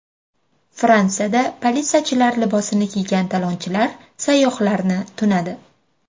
Fransiyada politsiyachilar libosini kiygan talonchilar sayyohlarni tunadi.